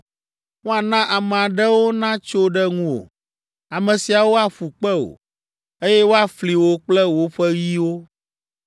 Woana ame aɖewo natso ɖe ŋuwò. Ame siawo aƒu kpe wò, eye woafli wò kple woƒe yiwo.